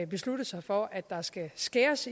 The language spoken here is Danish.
besluttet sig for at der skal skæres